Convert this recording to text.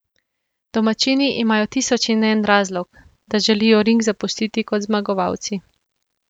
Domačini imajo tisoč in en razlog, da želijo ring zapustiti kot zmagovalci.